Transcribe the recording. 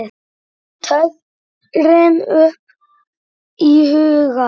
tröðin upp í hugann.